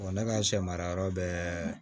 ne ka sɛ mara yɔrɔ bɛɛ